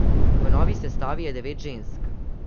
V novi sestavi je devet žensk.